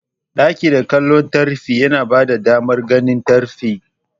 Ɗakin dake kallon tafki yana bada damar ganin tafkin.